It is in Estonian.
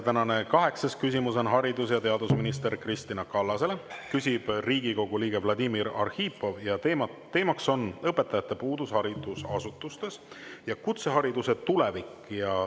Tänane kaheksas küsimus on haridus- ja teadusminister Kristina Kallasele, küsib Riigikogu liige Vladimir Arhipov ja teema on õpetajate puudus haridusasutustes ja kutsehariduse tulevik .